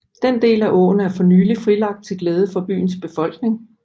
Den del af åen er for nylig frilagt til glæde for byens befolkning